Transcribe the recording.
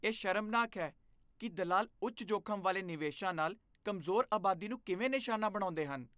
ਇਹ ਸ਼ਰਮਨਾਕ ਹੈ ਕਿ ਦਲਾਲ ਉੱਚ ਜੋਖ਼ਮ ਵਾਲੇ ਨਿਵੇਸ਼ਾਂ ਨਾਲ ਕਮਜ਼ੋਰ ਆਬਾਦੀ ਨੂੰ ਕਿਵੇਂ ਨਿਸ਼ਾਨਾ ਬਣਾਉਂਦੇ ਹਨ।